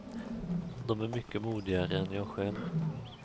De är mycket modigare än jag själv.